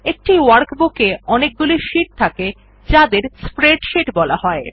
একটি ওয়ার্কবুক এ অনেকগুলি শীট থাকে যাদের স্প্রেডশীট বলা হয়